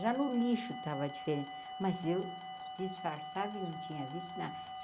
Já no lixo estava diferente, mas eu disfarçava e não tinha visto nada.